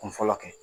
Kun fɔlɔ kɛ